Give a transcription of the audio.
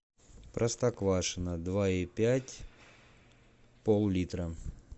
простоквашино два и пять пол литра